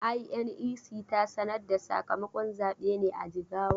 INEC ta sanar da sakamakon zabe ne a Jigawa?